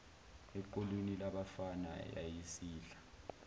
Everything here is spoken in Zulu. equlwini labafana yayisidla